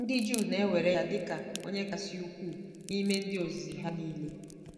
Ndị Juu na-ewere ya dị ka onye kasị ukwuu n'ime ndị ozizi ha nile.